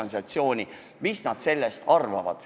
Nii ei teagi, mis nad eelnõust arvavad.